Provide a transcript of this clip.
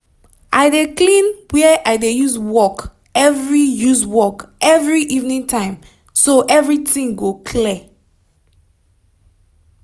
i dey clean where i dey use work every use work every evening time so everytin go clear